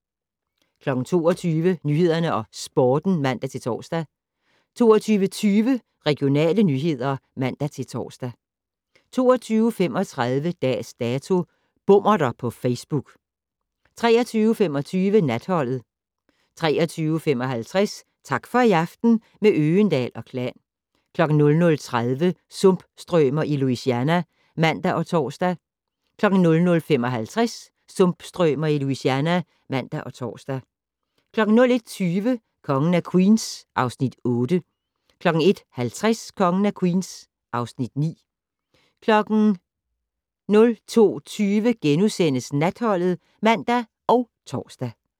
22:00: Nyhederne og Sporten (man-tor) 22:20: Regionale nyheder (man-tor) 22:35: Dags Dato: Bommerter på Facebook 23:25: Natholdet 23:55: Tak for i aften - med Øgendahl & Klan 00:30: Sumpstrømer i Louisiana (man og tor) 00:55: Sumpstrømer i Louisiana (man og tor) 01:20: Kongen af Queens (Afs. 8) 01:50: Kongen af Queens (Afs. 9) 02:20: Natholdet *(man og tor)